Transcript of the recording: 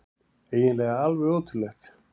Eiginlega alveg ótrúlegt.